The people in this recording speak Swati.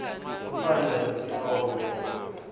kufanele sihloko ngendlela